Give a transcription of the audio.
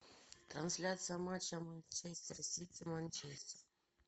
трансляция матча манчестер сити манчестер